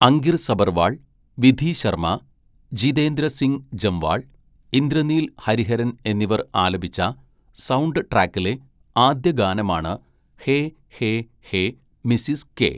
അങ്കിർ സബർവാൾ, വിധി ശർമ, ജീതേന്ദ്ര സിംഗ് ജംവാൾ, ഇന്ദ്രനീൽ ഹരിഹരൻ എന്നിവർ ആലപിച്ച സൗണ്ട് ട്രാക്കിലെ ആദ്യ ഗാനമാണ് hey hey hey Mrs K.